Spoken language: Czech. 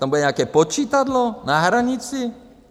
To bude nějaké počítadlo na hranici?